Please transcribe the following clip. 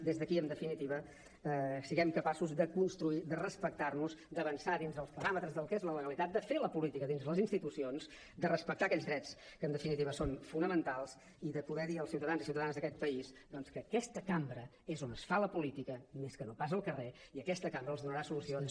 des d’aquí en definitiva siguem capaços de construir de respectar nos d’avançar dins dels paràmetres del que és la legalitat de fer la política dins les institucions de respectar aquells drets que en definitiva són fonamentals i de poder dir als ciutadans i ciutadanes d’aquest país doncs que aquesta cambra és on es fa la política més que no pas al carrer i aquesta cambra els donarà solucions